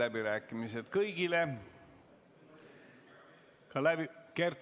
Kert Kingo, palun!